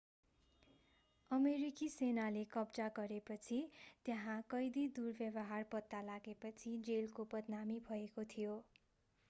अमेरिकी सेनाले कब्जा गरेपछि त्यहाँ कैदी दुर्व्यवहार पत्ता लागेपछि जेलको बदनामी भएको थियो